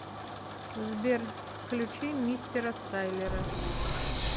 сбер включи мистера сайлера